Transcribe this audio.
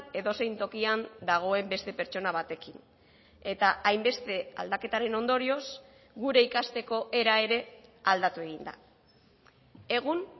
edozein tokian dagoen beste pertsona batekin eta hainbeste aldaketaren ondorioz gure ikasteko era ere aldatu egin da egun